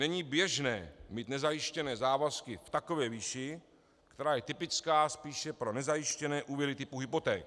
Není běžné mít nezajištěné závazky v takové výši, která je typická spíše pro nezajištěné úvěry typu hypoték.